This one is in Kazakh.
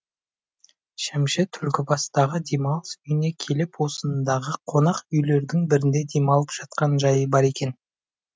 шәмші түлкібастағы демалыс үйіне келіп осындағы қонақ үйлердің бірінде демалып жатқан жайы бар екен